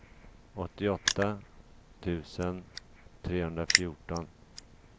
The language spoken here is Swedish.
åttioåtta tusen trehundrafjorton